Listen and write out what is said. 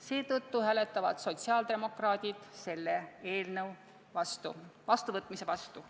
Seetõttu hääletavad sotsiaaldemokraadid selle eelnõu vastuvõtmise vastu.